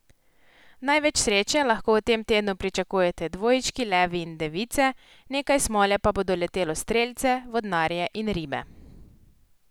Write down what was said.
Največ sreče lahko v tem tednu pričakujete dvojčki, levi in device, nekaj smole pa bo doletelo strelce, vodnarje in ribe.